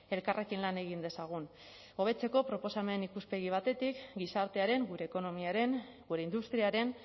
elkarrekin lan egin dezagun hobetzeko proposamen ikuspegi batetik gizartearen gure ekonomiaren gure industriaren